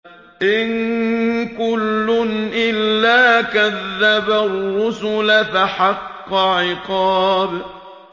إِن كُلٌّ إِلَّا كَذَّبَ الرُّسُلَ فَحَقَّ عِقَابِ